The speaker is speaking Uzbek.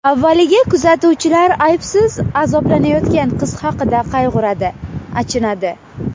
Avvaliga kuzatuvchilar aybsiz azoblanayotgan qiz haqida qayg‘uradi, achinadi.